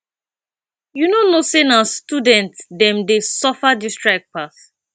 you no know sey na student dem dey suffer dis strike pass